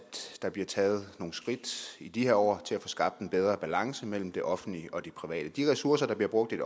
der bliver taget nogle skridt i de her år til at få skabt en bedre balance mellem det offentlige og det private de ressourcer der bliver brugt i